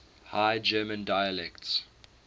high german dialects